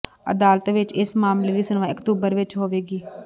ਅਦਾਲਤ ਵਿਚ ਇਸ ਮਾਮਲੇ ਦੀ ਸੁਣਵਾਈ ਅਕਤੂਬਰ ਵਿਚ ਹੋਵੇਗੀ